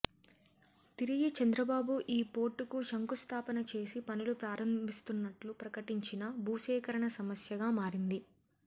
తిరిగి చంద్రబాబు ఈ పోర్టుకు శంఖుస్ధాపన చేసి పనులు ప్రారంభిస్తున్నట్లు ప్రకటించినా భూసేకరణ సమస్యగా మారింది